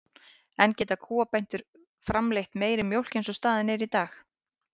En geta kúabændur framleitt meiri mjólk eins og staðan er í dag?